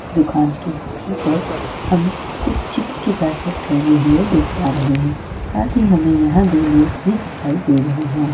दुकान के ऊपर हम कुछ चिप्स -के पैकेट लगे हुए देख पा रहे हैं साथ ही हमें यहां दो लोग भी दिखाई दे रहे हैं।